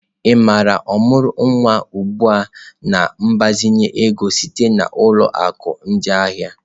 Ị maara ọmụrụ nwa ugbu a na mgbazinye ego sitere na ụlọ akụ ndị ahịa?